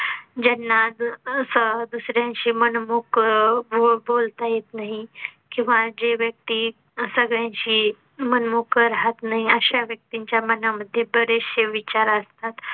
ज्यांना जो असा दुसऱ्यांशी मन मोकळं बोलता येत नाही किंवा जे व्यक्ती सगळ्यांशी मन मोकळं राहात नाही अशा व्यक्ती च्या मना मध्ये बरेचसे विचार असतात